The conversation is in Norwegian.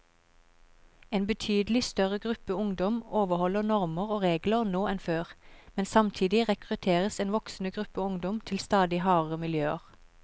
En betydelig større gruppe ungdom overholder normer og regler nå enn før, men samtidig rekrutteres en voksende gruppe ungdom til stadig hardere miljøer.